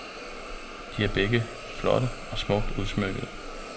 De er begge flotte og smukt udsmykkede.